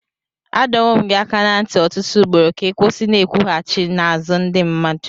Adọwo m gị aka ná ntị ọtụtụ ugboro ka ị kwụsị Ị n'ekwughachi n'azụ ndị mmadụ.